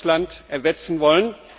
aus Russland, ersetzen wollen.